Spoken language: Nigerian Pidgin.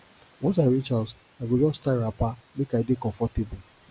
once i reach house i go just tie wrapper make i dey comfortable